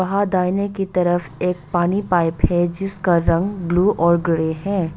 आ दाहिने की तरफ एक पानी पाइप है जिसका रंग ब्लू और ग्रे है।